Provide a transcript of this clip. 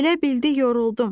Elə bildi yoruldum.